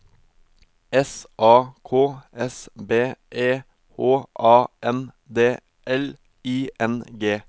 S A K S B E H A N D L I N G